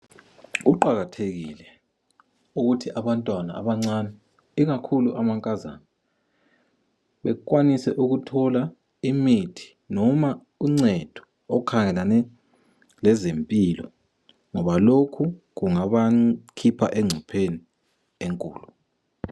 Kuqakathekile ukuthi abantwana abancane ikakhulu amankazana bekwanise ukuthola imithi noma uncedo okukhangelane lezimpilo ngoba lokhu kungabakhipha engcopheni enkulu.